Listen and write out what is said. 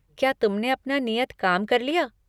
क्या तुमने अपना नियत काम कर लिया?